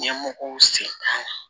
Ɲɛmɔgɔw sen t'a la